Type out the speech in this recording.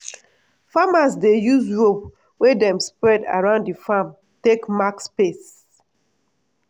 farmers dey use rope wey dem spread around di farm take mark space.